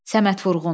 Səməd Vurğun.